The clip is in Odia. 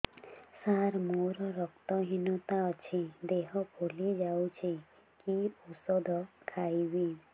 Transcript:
ସାର ମୋର ରକ୍ତ ହିନତା ଅଛି ଦେହ ଫୁଲି ଯାଉଛି କି ଓଷଦ ଖାଇବି